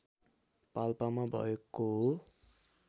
पाल्पामा भएको हो